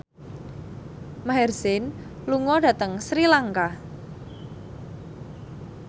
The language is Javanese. Maher Zein lunga dhateng Sri Lanka